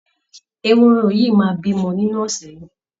Ehoro yìí máa bímọ nínú ọ̀sẹ̀ yìí